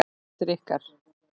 Hvert er ykkar?